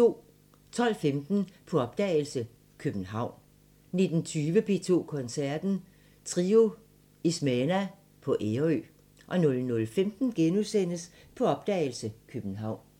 12:15: På opdagelse – København 19:20: P2 Koncerten – Trio Ismena på Ærø 00:15: På opdagelse – København *